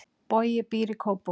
Bogi býr í Kópavogi.